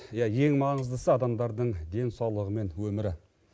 иә ең маңыздысы адамдардың денсаулығы мен өмірі